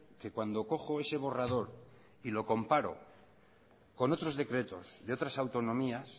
que cuando cojo ese borrador y lo comparo con otros decretos de otras autonomías